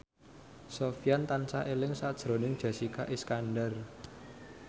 Sofyan tansah eling sakjroning Jessica Iskandar